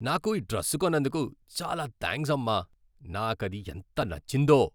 నాకు ఈ డ్రెస్ కొన్నందుకు చాలా థాంక్స్ అమ్మా! నాకది ఎంత నచ్చిందో.